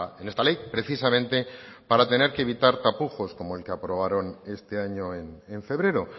en esta ley precisamente para tener que evitar tapujos como el que aprobaron este año en febrero